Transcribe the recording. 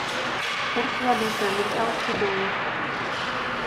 курс валюты американский доллар